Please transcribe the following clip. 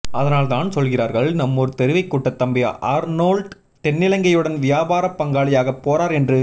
அதனால் தான் சொல்கிறார்கள் நம்மூர் தெருவைக் கூட்ட தம்பி ஆர்னோல்ட் தென்னிலங்கையுடன் வியாபார பங்காளியாகப் போறார் என்று